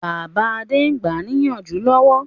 Bàbá Adé ń gbáà níyànjú lọ́wọ́